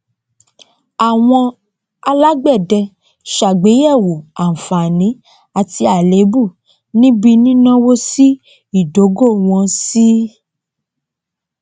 àwọn alágbẹdẹ sàgbéyẹwò àǹfààní àti àléébù níbí nínáwó sí ìdógò wọn sí